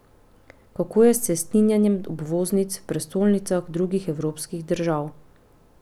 Kako je s cestninjenjem obvoznic v prestolnicah drugih evropskih držav?